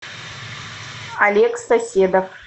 олег соседов